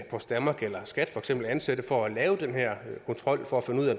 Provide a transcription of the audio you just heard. post danmark eller skat skal ansætte for at lave den her kontrol for at finde ud af